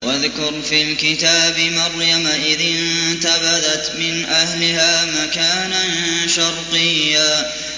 وَاذْكُرْ فِي الْكِتَابِ مَرْيَمَ إِذِ انتَبَذَتْ مِنْ أَهْلِهَا مَكَانًا شَرْقِيًّا